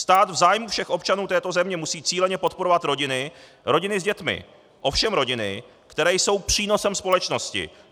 Stát v zájmu všech občanů této země musí cíleně podporovat rodiny, rodiny s dětmi, ovšem rodiny, které jsou přínosem společnosti.